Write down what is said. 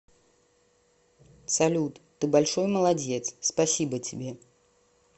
салют ты большой молодец спасибо тебе